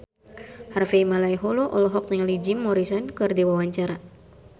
Harvey Malaiholo olohok ningali Jim Morrison keur diwawancara